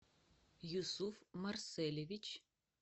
юсуф марселевич